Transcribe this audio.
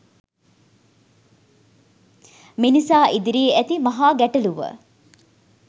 මිනිසා ඉදිරියේ ඇති මහා ගැටලුව